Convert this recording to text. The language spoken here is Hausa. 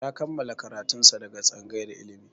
Ya kammala karatun sa daga tsangayar ilimi